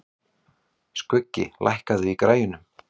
Skuggi, lækkaðu í græjunum.